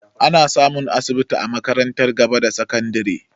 Ana samun asibiti a makarantar gaba da sakandare